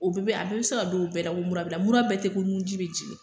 O bɛɛ bɛ , a bɛɛ be se ka dɔn o bɛɛ la ko mura b'i la ,mura bɛɛ tɛ ko nun ji be jigin.